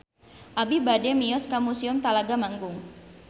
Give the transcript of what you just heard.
Abi bade mios ka Museum Talaga Manggung